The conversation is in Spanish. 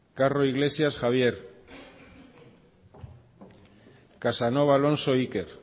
carro iglesias javier casanova alonso iker